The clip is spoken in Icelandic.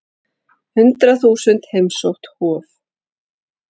Hundrað þúsund heimsótt Hof